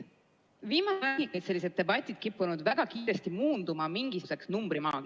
Viimasel ajal on sellised debatid kippunud väga kiiresti muunduma mingisuguseks numbrimaagiaks.